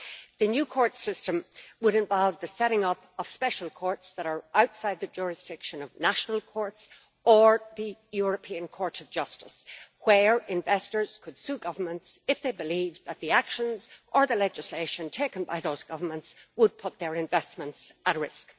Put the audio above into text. The new system would involve the setting up of special courts, outside the jurisdiction of national courts or the European Court of Justice, where investors could sue governments if they believe that the actions taken or the legislation adopted by those governments would put their investments at risk.